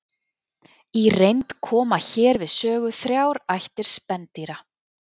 í reynd koma hér við sögu þrjár ættir spendýra